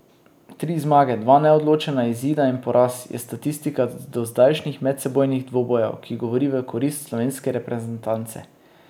Tri zmage, dva neodločena izida in poraz, je statistika z dozdajšnjih medsebojnih dvobojev, ki govori v korist slovenske reprezentance.